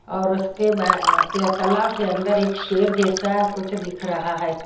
और उसके बा तालाव के अंदर एक शेर जैसा कुछ दिख रहा है।